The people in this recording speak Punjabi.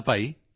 ਧੰਨਵਾਦ